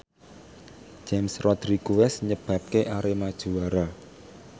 James Rodriguez nyebabke Arema juara